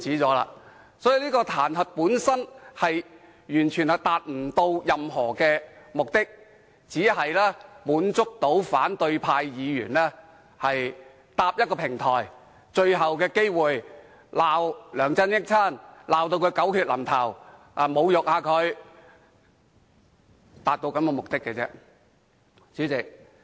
所以，這項彈劾本身完全達不到任何有用的目的，只是讓反對派議員有最後機會搭建一個平台斥責梁振英，把他罵得狗血淋頭，對他侮辱一番。